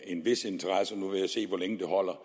en vis interesse nu vil jeg se hvor længe det holder